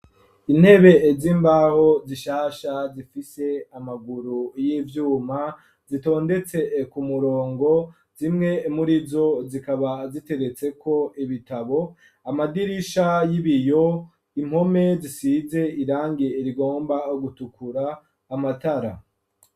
Intebe z'imbaho zishasha zifise amaguru y'ivyuma, zitondetse ku murongo, zimwe murizo zikaba ziteretseko ibitabo, amadirisha y'ibiyo, impome zisize irangi rigomba gutukura, amatara.